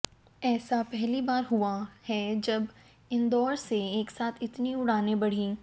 ऐसा पहली बार हुआ है जब इंदौर से एकसाथ इतनी उड़ानें बढ़ी